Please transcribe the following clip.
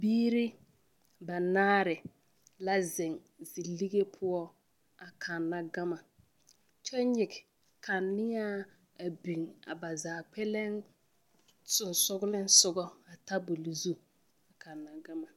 Biiri banaare la zeŋ zilige poɔ a kanna gama kyɛ nyige kaneaa a biŋ a ba zaa kpɛlɛŋ sensoglensoga a tabol zu a kanna gama.